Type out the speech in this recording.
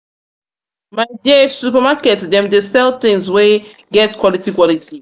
my dear supermarket dem dey sell tins wey get quality. quality.